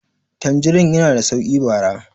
tanjirin yana da sauki bara